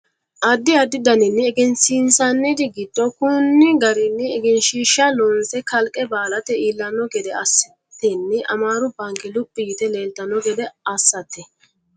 addi addi daninni egensiinsanniri giddo konni garinni egenshiishsha loonse kalqe baalate iillanno gede assatenni amaaru baanke luphi yite leeltanno gede assate